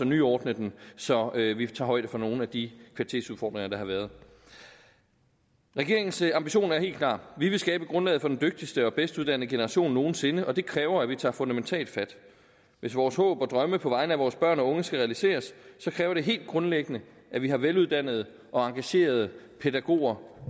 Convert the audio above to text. nyordne den så vi vi tager højde for nogle af de kvalitetsudfordringer der har været regeringens ambition er helt klar vi vil skabe grundlaget for den dygtigste og bedst uddannede generation nogen sinde og det kræver at vi tager fundamentalt fat hvis vores håb og drømme på vegne af vores børn og unge skal realiseres kræver det helt grundlæggende at vi har veluddannede og engagerede pædagoger